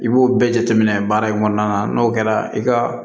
I b'o bɛɛ jateminɛ baara in kɔnɔna na n'o kɛra i ka